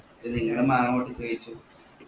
ന്നിട്ട് ഇങ്ങൾ മാങ്ങ പൊട്ടിച്ച് കൈച്ചു